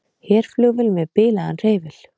Herflugvél með bilaðan hreyfil